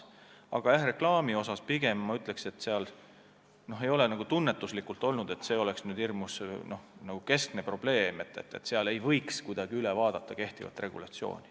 Aga reklaami kohta ma pigem ütleks, et me ei ole tunnetanud, et see on hirmus suur probleem, aga see ei tähenda, et ei võiks üle vaadata kehtivat regulatsiooni.